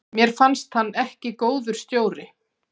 Mér fannst hann ekki góður stjóri.